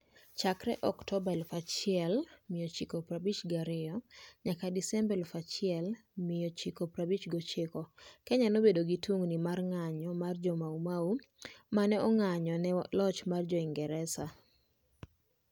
Chakre Oktoba 1952 nyaka Desemba 1959, Kenya nobedo gi tungini nikech ng'anjo mar Jo-Mau Mau ma ne ong'anjo ne loch mar Jo-Ingresa.